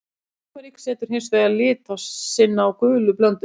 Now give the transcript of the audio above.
Túrmerik setur hins vegar lit sinn á gulu blönduna.